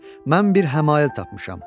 Mən bir həmail tapmışam.